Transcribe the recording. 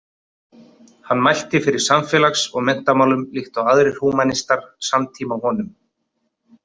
Hann mælti fyrir samfélags- og menntamálum líkt og aðrir húmanistar samtíma honum.